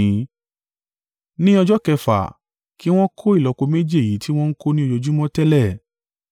Ní ọjọ́ kẹfà, ki wọn kó ìlọ́po méjì èyí tiwọn ń ko ni ojoojúmọ́ tẹ́lẹ̀.”